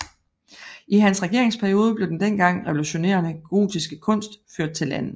I hans regeringsperiode blev den dengang revolutionerende gotiske kunst ført til landet